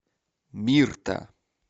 мирта